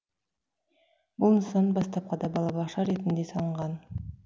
бұл нысан бастапқыда балабақша ретінде салынған